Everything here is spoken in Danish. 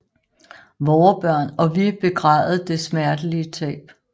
Vore Børn og vi begræde det smertelige tab